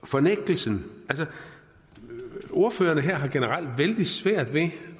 fornægtelsen ordførerne her har generelt vældig svært ved